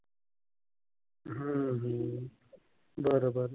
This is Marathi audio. बरबर.